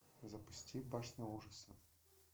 запусти башня ужаса